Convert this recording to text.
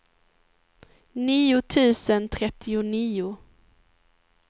nio tusen trettionio